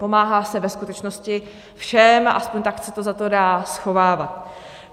Pomáhá se ve skutečnosti všem, aspoň tak se to za to dá schovávat.